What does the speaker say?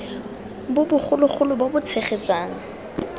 bo bogolo bo bo tshegetsang